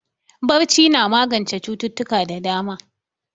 Barci na magance cututtuka da dama.